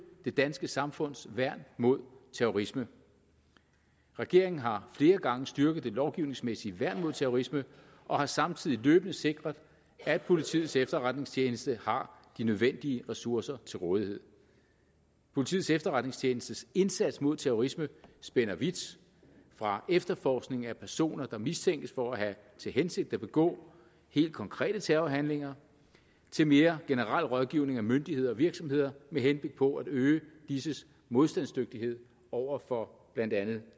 det danske samfunds værn mod terrorisme regeringen har flere gange styrket det lovgivningsmæssige værn mod terrorisme og har samtidig løbende sikret at politiets efterretningstjeneste har de nødvendige ressourcer til rådighed politiets efterretningstjenestes indsats mod terrorisme spænder vidt fra efterforskning af personer der mistænkes for at have til hensigt at begå helt konkrete terrorhandlinger til mere generel rådgivning af myndigheder og virksomheder med henblik på at øge disses modstandsdygtighed over for blandt andet